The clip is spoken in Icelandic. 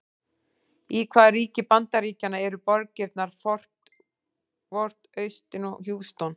Í hvaða ríki Bandaríkjanna eru borgirnar Fort Worth, Austin og Houston?